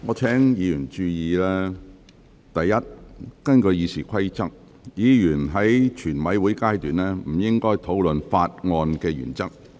我請委員注意，第一，根據《議事規則》，委員在全體委員會審議階段不應討論《條例草案》的原則。